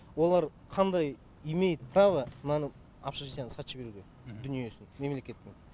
олар қандай имеют право мынаны общежитиені сатып жіберуге дүниесін мемлекеттің